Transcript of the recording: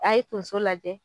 A ye tonso lajɛ